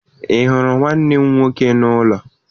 Ị hụrụ nwanne m nwoke n'ụlọ?